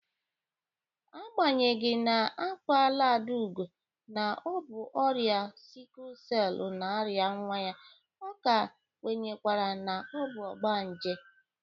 Agbanyeghi na agwala Adaugo na ọ bụ ọrịa sikul selu na-arịa nwa ya, ọ ka kwenyekwara na ọ bụ ọgbanje.